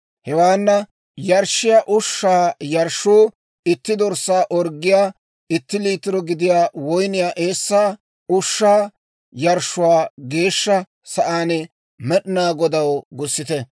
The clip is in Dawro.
Hewaana yarshshiyaa ushshaa yarshshuu itti dorssaa orggiyaw itti liitiro gidiyaa woyniyaa eessaa. Ushshaa yarshshuwaa Geeshsha Sa'aan Med'inaa Godaw gussite.